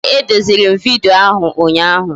Ee, e deziri m vidyo ahụ ụnyaahụ